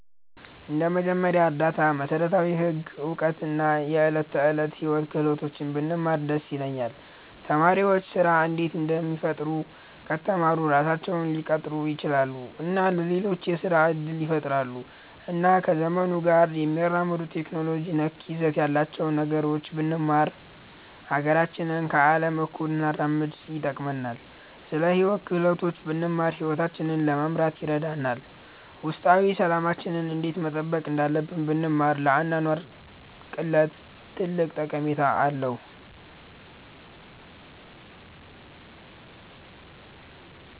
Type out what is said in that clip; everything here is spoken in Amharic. እንደ መጀመሪያ እርዳታ፣ መሠረታዊ ህግ እውቀት እና የዕለት ተዕለት ሕይወት ክህሎቶች ብንማር ደስ ይለኛል። ተማሪዎች ስራ እንዴት እንደሚፈጥሩ ከተማሩ ራሳቸውን ሊቀጥሩ ይችላሉ እና ለሌሎችም የስራ እድል ይፈጥራሉ። እና ከዘመኑ ጋር የሚያራምዱ ቴክኖሎጂ ነክ ይዘት ያላቸውን ነገሮች ብንማር ሀገራችንን ከአለም እኩል እንድናራምድ ይጠቅመናል። ስለ ሂወት ክህሎቶች ብንማር ሂወታችንን ለመምራት ይረዳናል። ውስጣዊ ሠላማችንን እንዴት መጠበቅ እንዳለብን ብንማር ለአኗኗር ቅለት ትልቅ ጠቀሜታ አለዉ።